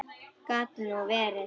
Gat nú verið!